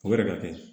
O yɛrɛ ka kɛ